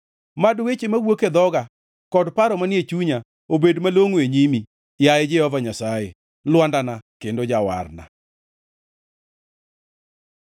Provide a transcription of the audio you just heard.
Mad weche mawuok e dhoga, kod paro manie chunya, obed malongʼo e nyimi, yaye Jehova Nyasaye, Lwandana kendo Jawarna.